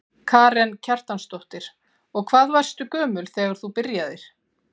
Karen Kjartansdóttir: Og hvað varstu gömul þegar þú byrjaðir?